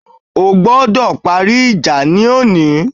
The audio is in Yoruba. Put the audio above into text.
Ẹ gbọ́dọ̀ parí ìjà lónìí